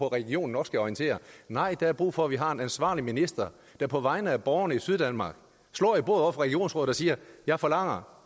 at regionen nok skal orientere nej der er brug for at vi har en ansvarlig minister der på vegne af borgerne i syddanmark slår i bordet regionsrådet og siger jeg forlanger